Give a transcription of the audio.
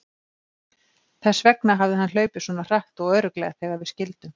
Þess vegna hafði hann hlaupið svona hratt og örugglega þegar við skildum.